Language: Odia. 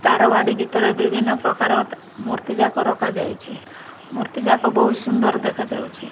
ତାର ବାଡ଼ି ଭିତରେ ବିଭିନ୍ନ ପ୍ରକାରର ମୂର୍ତ୍ତିଜାକ ରଖାଯାଇଛି ମୂର୍ତ୍ତିଜାକ ବହୁତ୍ ସୁନ୍ଦର୍ ଦେଖାଯାଉଛି।